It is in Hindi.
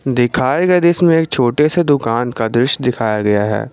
दिखाए गए दृश्य में एक छोटे से दुकान का दृश्य दिखाया गया है।